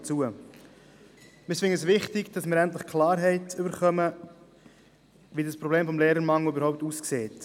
Wir denken, es ist wichtig, dass wir endlich Klarheit darüber erlangen, wie das Problem des Lehrermangels überhaupt ausschaut.